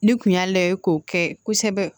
Ni kun y'a layɛ k'o kɛ kosɛbɛ